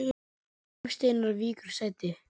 Jón Steinar víkur sæti